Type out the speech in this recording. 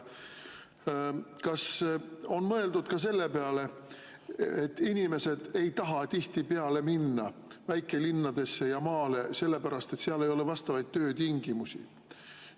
Kas on mõeldud ka selle peale, et inimesed ei taha tihtipeale minna väikelinnadesse ja maale sellepärast, et seal ei ole vastavaid töötingimusi?